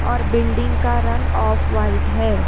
और बिल्डिंग का रंग ऑफ व्हाइट है।